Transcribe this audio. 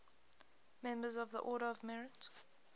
members of the order of merit